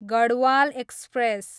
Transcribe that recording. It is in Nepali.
गढवाल एक्सप्रेस